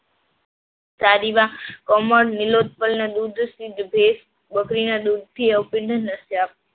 બકરીના દૂધથી